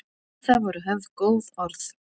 Um það voru höfð góð orð.